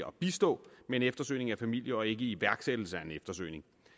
at bistå med en eftersøgning af familie og ikke iværksættelse af en eftersøgning